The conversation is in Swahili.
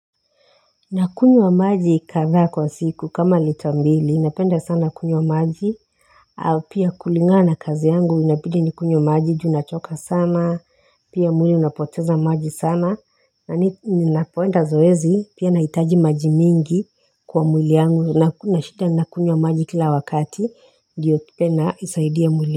Nakunywa maji kadhaa kwa siku kama lita mbili napenda sana kunywa maji au pia kulingana na kazi yangu inabidi nikunywe maji juu nachoka sana pia mwili unapoteza maji sana na ninapoenda zoezi pia naitaji maji mingi kwa mwili yangu kuna shida nakunywa maji kila wakati ndiyo tena isaidie mwili.